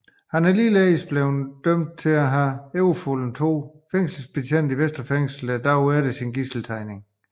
Han er ligeledes blevet dømt for at have overfaldet to fængselsbetjente i Vestre Fængsel dagen efter gidseltagningen